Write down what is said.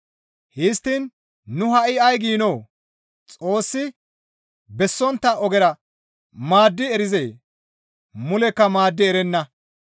Histtiin nu ha7i ay giinoo? Xoossi bessontta ogera maaddi erizee? Mulekka maaddi erenna.